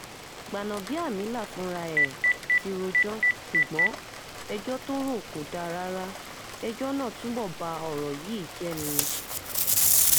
gbanábíàmílà fúnra ẹ̀ ti rojọ́ ṣùgbọ́n ẹjọ́ tó rọ̀ kò dáa rárá ẹjọ́ náà túbọ̀ ba ọ̀rọ̀ yìí jẹ́ ni